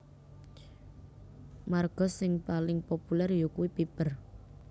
Marga sing paling populèr yakuwi Piper